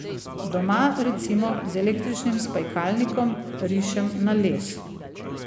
Doma, recimo, z električnim spajkalnikom rišem na les.